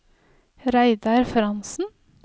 Reidar Frantzen